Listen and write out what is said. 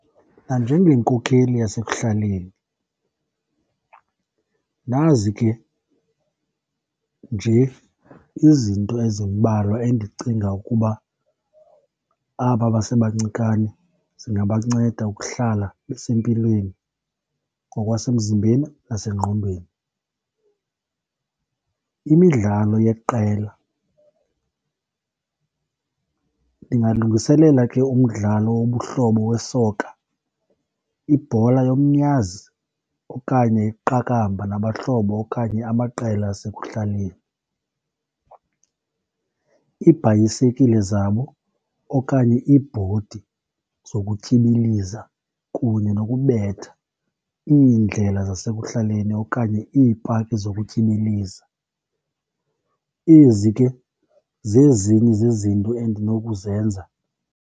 Nanjengenkokheli yasekuhlaleni, nazi ke nje izinto ezimbalwa endicinga ukuba aba basebancikane zingabanceda ukuhlala besempilweni ngokwasemzimbenzi nasengqondweni, imidlalo yeqela. Ndingalungiselela ke umdlalo wobuhlobo we-soccer, ibhola yomnyazi, okanye iqakamba nabahlobo okanye amaqela asekuhlaleni. Iibhayisekile zabo okanye iibhodi zokutyibiliza kunye nokubetha iindlela zasekuhlaleni okanye iipaki zokutyibiliza. Ezi ke zezinye zezinto endinokuzenza.